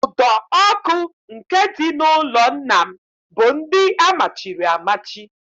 Ụdọ ọkụ nke dị n'ụlọ nna m bụ ndị amachiri amachi